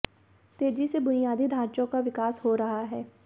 तेजी से बुनियादी ढाँचों का विकास हो रहा है